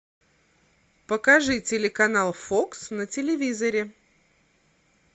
покажи телеканал фокс на телевизоре